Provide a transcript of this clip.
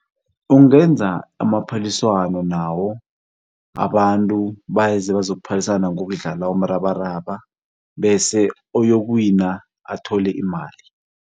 Ungenza amaphaliswano nawo abantu beza bazokuphalisana ngokudlala umrabaraba bese oyokuwina athole imali.